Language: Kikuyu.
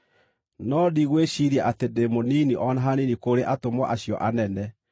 No ndigwĩciiria atĩ ndĩ mũnini o na hanini kũrĩ “atũmwo acio anene.”